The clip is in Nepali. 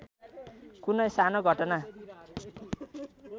कुनै सानो घटना